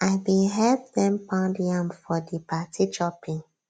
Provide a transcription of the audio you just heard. i bin help dem pound yam for di party chopping